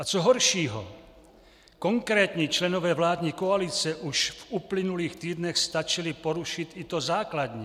A co horšího, konkrétní členové vládní koalice už v uplynulých týdnech stačili porušit i to základní.